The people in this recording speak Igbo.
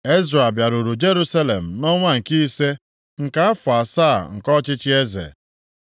Ezra bịaruru Jerusalem nʼọnwa nke ise, nke afọ asaa nke ọchịchị eze.